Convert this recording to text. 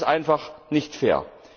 Das ist einfach nicht fair.